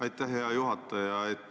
Aitäh, hea juhataja!